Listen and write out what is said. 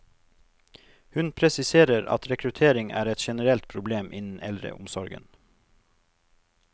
Hun presiserer at rekruttering er et generelt problem innen eldreomsorgen.